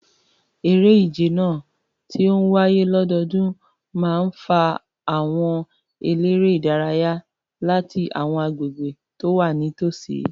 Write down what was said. Eré ìje náà, tí ó ń wáyé lọ́dọọdún, máa ń fa àwọn eléré-ìdárayá láti àwọn agbègbè tó wà nítòsí.